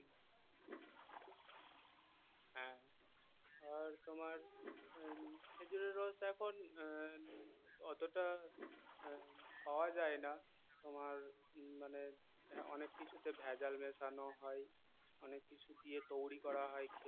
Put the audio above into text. আর তোমার আহ খেজুরের রস এখন আহ অতটা আহ পাওয়া যায় না তোমার উম মানে অনেক কিছুতে ভেজাল মেশানো হয় অনেক কিছু দিয়ে তৈরী করা হয়